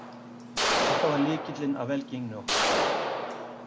Þetta var lykillinn að velgengninni okkar